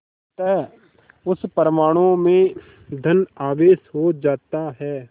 अतः उस परमाणु में धन आवेश हो जाता है